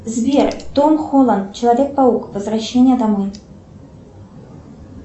сбер том холланд человек паук возвращение домой